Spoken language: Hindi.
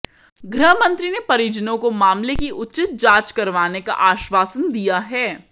गृहमंत्री ने परिजनों को मामले की उचित जांच करवाने का आश्वासन दिया है